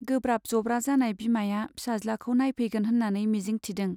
गोब्राब जब्रा जानाय बिमाया फिसाज्लाखौ नायफैगोन होन्नानै मिजिंक थिदों।